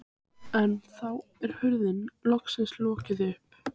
En þá er hurðinni loksins lokið upp.